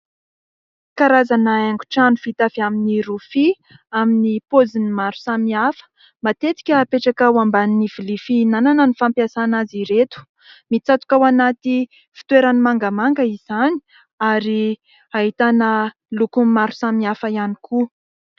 karazana haingo trano : vita amin'ny rofia, amin'ny poziny maro samihafa, matetika apetraka ao ambany vilia fihinanana no fampiasana azy ireto. Mitsatoka ao anaty fitoerany mangamanga izany ary ahitana lokony maro samihafa ihany koa.